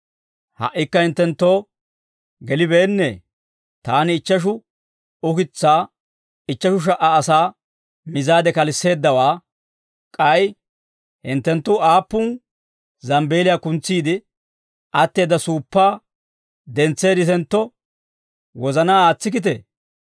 Ha"ikka hinttenttoo gelibeennee? Taani ichcheshu ukitsaa ichcheshu sha"a asaa mizaade kalisseeddawaa, k'ay hinttenttu aappun zambbeeliyaa kuntsiide atteedda suuppaa dentseedditentto wozanaa aatsikkitee?